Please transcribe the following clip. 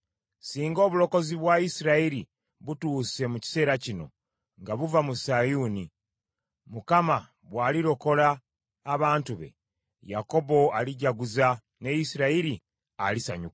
Singa obulokozi bwa Isirayiri butuuse mu kiseera kino nga buva mu Sayuuni! Mukama bw’alirokola abantu be, Yakobo alijaguza ne Isirayiri alisanyuka.